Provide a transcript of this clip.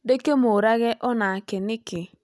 Ndĩkĩmũũrage onake nĩkĩ?